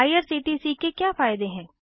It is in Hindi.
आईआरसीटीसी के क्या फायदे हैं160